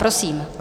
Prosím.